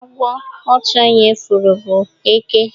Agwo otu onye furu bu Eke